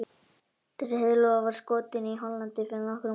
Þessi heiðlóa var skotin í Hollandi fyrir nokkrum árum.